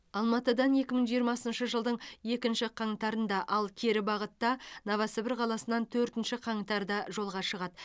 алматыдан екі мың жиырмасыншы жылдың екінші қаңтарында ал кері бағытта новосібір қаласынан төртінші қаңтарда жолға шығады